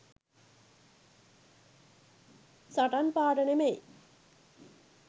සටන් පාඨ නෙමෙයි.